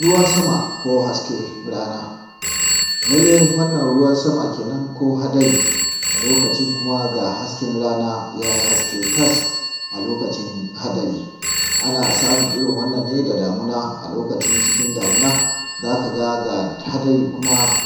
Ruwan Sama ko Hasken Rana Lallai, wannan ruwan sama kenan, ko hadari. A lokacin kuma, ga hasken rana ya haske tas! A lokacin hadari, ana samun irn wannan ne da damuna. A lokacin cikin damuna, za ka ga, ga hadari,